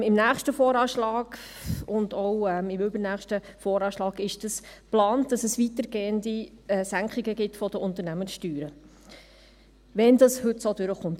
Für den nächsten und auch übernächsten VA ist geplant, dass es weitergehende Senkungen der Unternehmenssteuern gibt, wenn es heute so durchkommt.